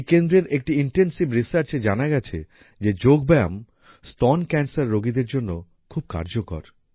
এই কেন্দ্রের একটি ইনটেনসিভ Researchএ জানা গিয়েছে যে যোগব্যায়াম স্তন ক্যান্সার রোগীদের জন্য খুব কার্যকর